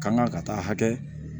Kanga ka taa hakɛ